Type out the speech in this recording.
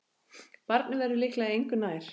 Barnið verður líklega engu nær.